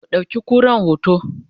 ku ɗauki kuran hoto!